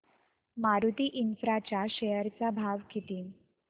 Maruti Infra च्या share चा भाव किती